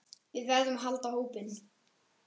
Við verðum að halda hópinn!